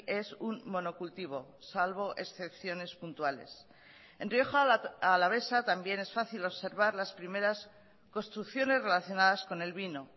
es un monocultivo salvo excepciones puntuales en rioja alavesa también es fácil observar las primeras construcciones relacionadas con el vino